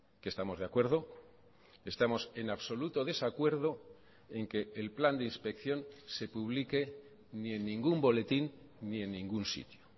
que estamos de acuerdo estamos en absoluto desacuerdo en que el plan de inspección se publique ni en ningún boletín ni en ningún sitio